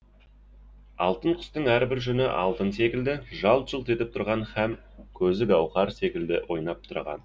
алтын құстың әрбір жүні алтын секілді жалт жұлт етіп тұрған һәм көзі гауһар секілді ойнап тұрған